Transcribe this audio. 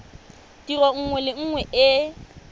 tiro nngwe le nngwe e